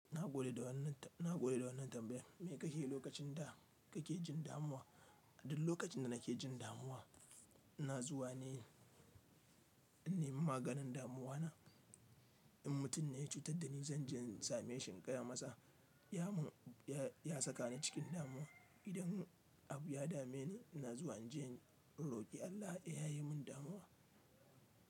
Na gode da wannan, na gode da wannan tambayan. Me kake yi lokacin da kake jin damuwa? Duk lokacin da nake jin damuwa, ina zuwa ne, inyi maganin damuwa na. In mutum ya cutar da ni, zan je in same shi in gaya masa ya mun, ya saka ni cikin damuwa. Idan abu ya dame ni, ina zuwa in je in roƙi Allah ya yayemin damuwa.